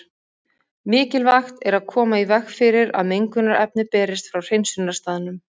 Mikilvægt er að koma í veg fyrir að mengunarefni berist frá hreinsunarstaðnum.